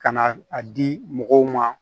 Ka na a di mɔgɔw ma